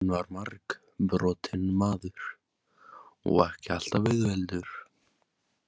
Hann var margbrotinn maður og ekki alltaf auðveldur.